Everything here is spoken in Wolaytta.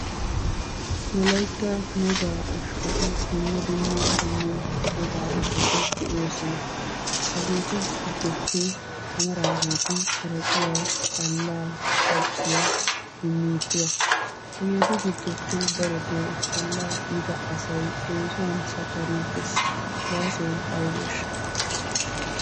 Wolaytta wogaa ushshati dumma dumma qommo ushshati de'oosona. Hageetu giddoppe amaraageeti haraqiya, xallaa, xajjiya, kinniittuwa. Hageetu giddoppe darotoo xallaa uyida asay eesuwan sakkariiggees. Gaasoy aybeeshsha?